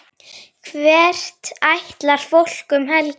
Hvert ætlar fólk um helgina?